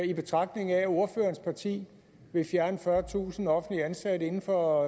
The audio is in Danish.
i betragtning af at ordførerens parti vil fjerne fyrretusind offentligt ansatte inden for